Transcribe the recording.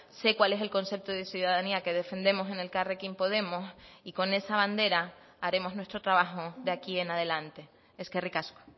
sé cuál es el concepto de ciudadanía que defendemos en elkarrekin podemos y con esa bandera haremos nuestro trabajo de aquí en adelante eskerrik asko